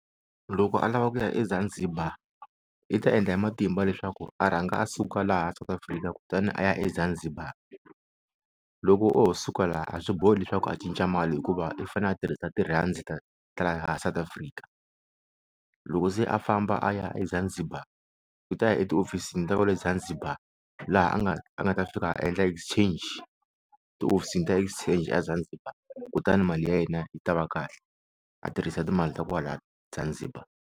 Loko a lava ku ya eZanzibar i ta endla hi matimba leswaku a rhanga a suka laha South Africa kutani a ya eZanzibar loko o ho suka laha a swi bohi leswaku a cinca mali hikuva i fane a tirhisa ti-rands ta ta laha South Africa loko se a famba a ya eZanzibar u ta ya ehofisini ta kwale Zanzibar laha a nga a nga ta fika a endla exchange tihofisini ta exchange a Zanzibar kutani mali ya yena yi ta va kahle a tirhisa timali ta kwala Zanzibar.